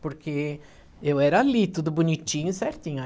Porque eu era ali, tudo bonitinho e certinho.